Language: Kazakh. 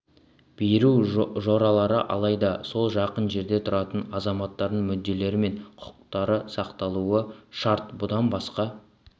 беру жоралары алайда сол жақын жерде тұратын азаматтардың мүдделері мен құқықтары сақталуы шарт бұдан басқа